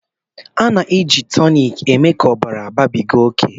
A na-eji toniki mee ka ọbara babiga oke